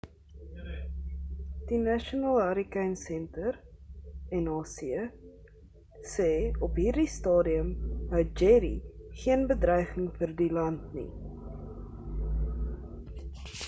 die national hurricane center nhc sê op hierdie stadium hou jerry geen bedreiging in vir land nie